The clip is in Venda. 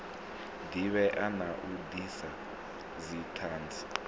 divhea na u disa dzithanzi